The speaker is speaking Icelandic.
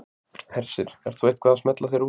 Hersir: Ert þú eitthvað að smella þér út í?